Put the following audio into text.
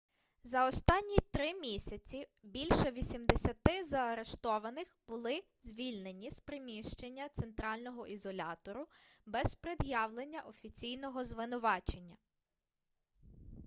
за останні 3 місяці більше 80 заарештованих були звільнені з приміщення центрального ізолятору без пред'явлення офіційного звинувачення